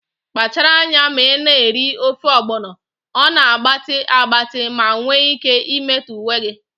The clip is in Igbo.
Kpachara anya na ị na-eri ofe ogbono, ọ na-agbatị agbatị ma nwee ike imetọ uwe gị